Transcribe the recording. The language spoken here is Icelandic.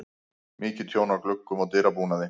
Mikið tjón á gluggum og dyrabúnaði.